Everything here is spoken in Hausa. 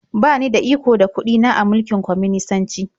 Ba ni da iko da kuɗi na a mulkin kwaminisanci.